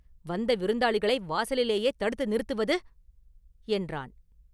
"வந்த விருந்தாளிகளை வாசலிலேயே தடுத்து நிறுத்துவது….?” என்றான்.